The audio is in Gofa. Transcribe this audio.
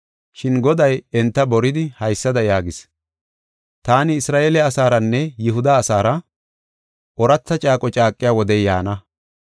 Shin Goday enta boridi, haysada yaagis: “Taani Isra7eele asaaranne Yihuda asaara ooratha caaqo caaqiya wodey yaana.